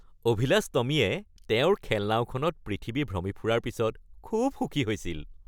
অভিলাষ টমীয়ে তেওঁৰ খেলনাওখনত পৃথিৱী ভ্ৰমি ফুৰাৰ পিছত খুব সুখী হৈছিল।